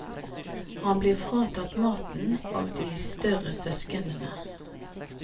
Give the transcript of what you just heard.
Han blir fratatt maten av de større søsknene.